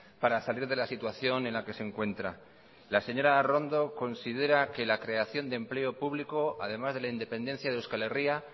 para salir de la situación en la que se encuentra la señora arrondo considera que la creación de empleo público además de la independencia de euskal herria